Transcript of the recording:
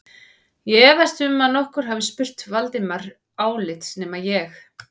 Ég efast um að nokkur hafi spurt Valdimar álits nema ég